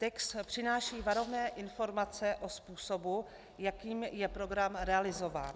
Text přináší varovné informace o způsobu, jakým je program realizován.